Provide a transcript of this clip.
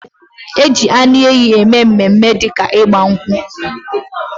Ejikwa anu ehi eme mme mme di ka igba nkwu